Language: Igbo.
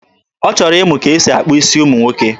Ọ chọrọ ịmụ ka e si akpa isi ụmụ nwoke.